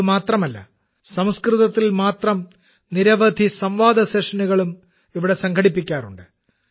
ഇത് മാത്രമല്ല സംസ്കൃതത്തിൽ മാത്രം നിരവധി സംവാദ സെഷനുകളും ഇവിടെ സംഘടിപ്പിക്കാറുണ്ട്